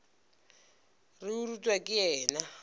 re o rutwa ke yena